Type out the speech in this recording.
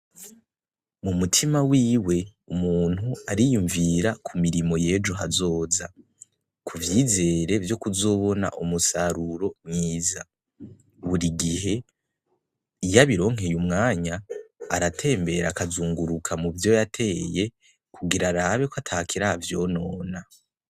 Mumutima wiwe umuntu ariyumvira k'umirimo yejo hazoza kuvyizere vyokuzobona umusaruro mwiza, Burigihe iyo abironkeye umwanya aratembera akazunguruka muvyo yateye kugira arabe ko atakiravyonona.